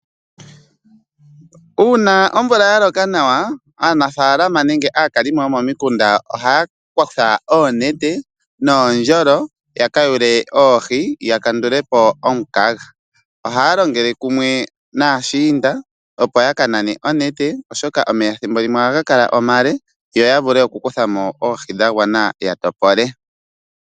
Uuna omvula ya loka nawa aanafalama nenge aakalimo yomomikunda ohaya kutha oonete noondjolo ya kayule oohi ya kandulepo omukaga ohaya longele kumwe naashiinda opo ya kanane onete oshoka omeya ethimbo limwe oha ga kala omale yo ya vule okukuthamo oohi dha gwana ya topole.